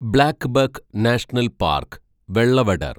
blackbuck national park, Velavadar